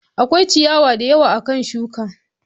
Akwai ciyawa da yawa akan shuka.